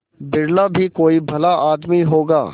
बिरला ही कोई भला आदमी होगा